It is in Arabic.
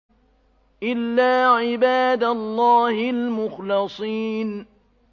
إِلَّا عِبَادَ اللَّهِ الْمُخْلَصِينَ